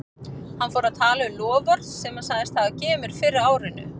Hann fór að tala um loforð sem hann sagðist hafa gefið mér fyrr á árinu.